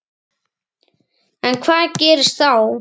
Edda: En hvað gerist þá?